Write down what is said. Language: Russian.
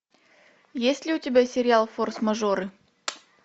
есть ли у тебя сериал форс мажоры